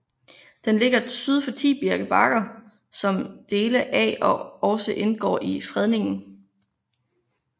Den ligger syd for Tibirke Bakker som dele af også indgår i fredningen